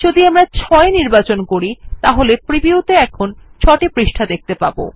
যদি আমরা ৬ নির্বাচন করি তাহলে প্রিভিউতে আমরা ৬ টি পৃষ্ঠা দেখতে পাব